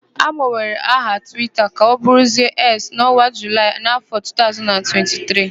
Agbanwere aha Twita ka ọbụrụzie Eks n'ọnwa Julaị n'áfọ̀ 2023.